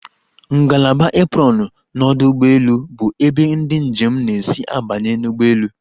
Ngalaba aprọnụ n'ọdụ ụgbọelu bụ ebe ndị njem na-esi abanye n'ụgbọelu.